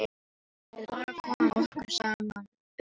Við bara komum okkur saman um það.